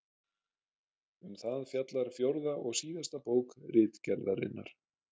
Um það fjallar fjórða og síðasta bók Ritgerðarinnar.